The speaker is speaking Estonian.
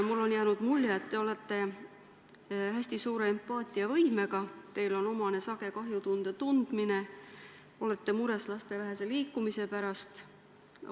Mulle on jäänud mulje, et te olete hästi suure empaatiavõimega, teile on omane sage kahjutunde tundmine, te olete mures laste vähese liikumise pärast.